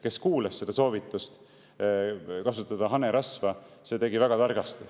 Kes kuulas seda soovitust kasutada hanerasva, see tegi väga targasti.